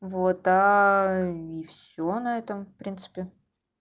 это и всё наверное в принципе